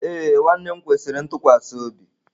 Ee nwanne m kwesiri ntụkwasị obi.